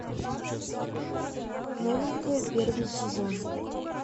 новенькая первый сезон